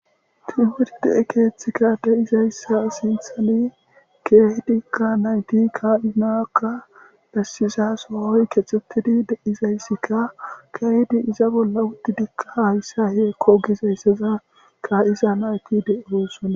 timurdee keethikka deizayssa sinthani keehidi ka nayti kaa7inakka dassiza soohoy kexxutidi deizayssikka keehdi iza bolla wuddidikka hayssa heekko gizayssaza kaa7iza nayki deirossona